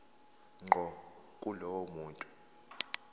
ngqo kulowo muntu